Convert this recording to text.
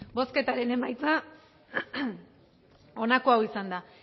bozketaren emaitza onako izan da